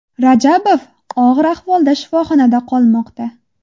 Rajabov og‘ir ahvolda shifoxonada qolmoqda.